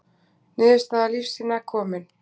Niðurstaða lífsýna komin